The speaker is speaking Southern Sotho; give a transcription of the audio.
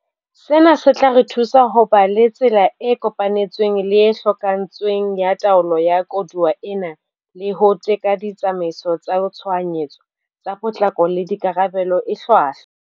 Sena se tla re thusa ho ba le tsela e kopanetsweng le e hokahantsweng ya taolo ya koduwa ena le ho teka ditsamaiso tsa tshohanyetso, tsa potlako le karabelo e hlwahlwa.